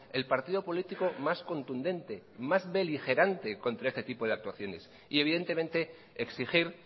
el partido político más contundente y más beligerante contra este tipo de actuaciones y evidentemente exigir